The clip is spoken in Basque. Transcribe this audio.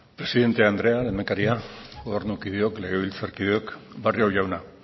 presidente andrea lehendakaria gobernukideok legebiltzarkideok barrio jauna